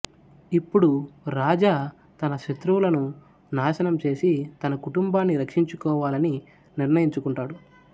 ఇప్పుడు రాజా తన శత్రువులను నాశనం చేసి తన కుటుంబాన్ని రక్షించుకోవాలని నిర్ణయించుకుంటాడు